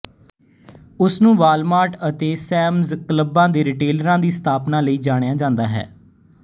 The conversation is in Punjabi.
ਉਸ ਨੂੰ ਵਾਲਮਾਰਟ ਅਤੇ ਸੈਮਜ਼ ਕਲੱਬ ਦੇ ਰਿਟੇਲਰਾਂ ਦੀ ਸਥਾਪਨਾ ਲਈ ਜਾਣਿਆ ਜਾਂਦਾ ਹੈ